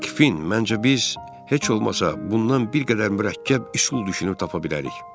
Hey Kfin, məncə biz heç olmasa bundan bir qədər mürəkkəb üsul düşünüb tapa bilərik.